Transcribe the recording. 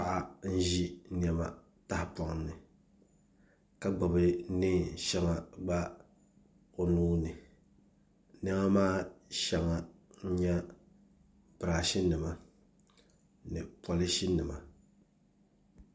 Paɣa n ʒi niɛma tahapoŋ ni ka gbubi neen shɛŋa gba o nuuni niɛma maa shɛŋa n nyɛ birash nima ni polish nima